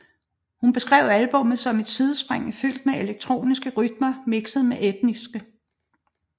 Hun beskrev albummet som et sidespring fyldt med elektroniske rytmer mixet med etniske